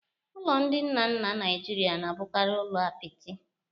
Ụlọ ndị nna nna Nigeria na-abụkarị ụlọ apịtị